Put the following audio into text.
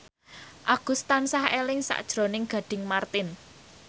Agus tansah eling sakjroning Gading Marten